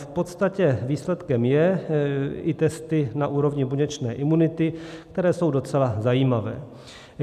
V podstatě výsledkem jsou i testy na úrovni buněčné imunity, které jsou docela zajímavé.